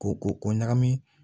Ko ko ɲagami